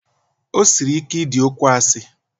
O siri ike idi okwu asị.